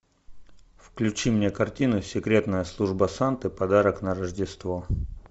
включи мне картину секретная служба санты подарок на рождество